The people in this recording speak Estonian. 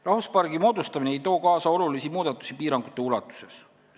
Rahvuspargi moodustamine ei too kaasa olulisi muudatusi piirangute ulatuses.